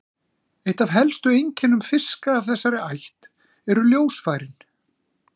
Eitt af helstu einkennum fiska af þessari ætt eru ljósfærin.